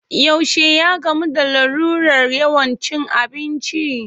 Yaushe ya gamu da larurar yawan cin abinci?